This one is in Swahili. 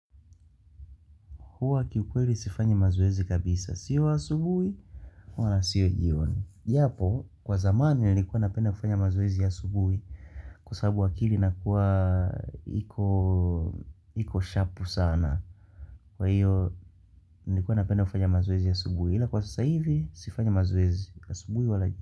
Huwa kiukweli sifanyi mazoezi kabisa. Sio asubui, wala sio jioni. Japo, kwa zamani nilikuwa napenda kufanya mazoezi ya asubui, kwa sababu akili inakuwa iko shapu sana. Kwa hiyo, nilikuwa napenda kufanya mazoezi ya asubui. Ila kwa sasa hivi, sifanyi mazoezi. Asubui wala.